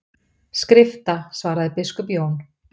Skrifta, svaraði biskup Jón.